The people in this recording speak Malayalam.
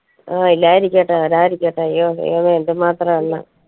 ആ ഇല്ലാതിരിക്കട്ടെ വരാതിരിക്കട്ടെ അയ്യോ ദൈവമേ എന്ത് മാത്രം അറിയ